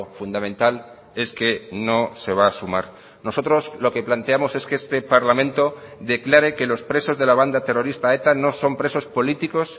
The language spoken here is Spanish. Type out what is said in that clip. fundamental es que no se va a sumar nosotros lo que planteamos es que este parlamento declare que los presos de la banda terrorista eta no son presos políticos